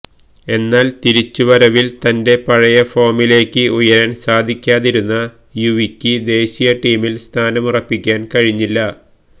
എന്നാല് തിരിച്ചുവരവില് തന്റെ പഴയ ഫോമിലേക്ക് ഉയരാന് സാധിക്കാതിരുന്ന യുവിക്ക് ദേശീയ ടീമില് സ്ഥാനമുറപ്പിക്കാന് കഴിഞ്ഞില്ല